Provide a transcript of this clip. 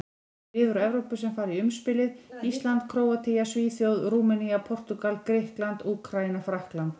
Lið úr Evrópu sem fara í umspilið: Ísland, Króatía, Svíþjóð, Rúmenía, Portúgal, Grikkland, Úkraína, Frakkland.